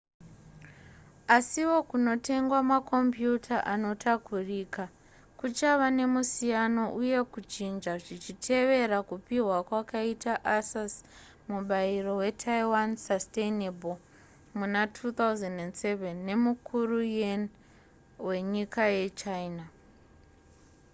asiwo kunotengwa makombiuta anotakurika kuchava nemusiyano uye kuchinja zvichitevera kupihwa kwakaitwa asus mubairo wetaiwan sustainable muna2007 nemukuru yuan wenyika yechina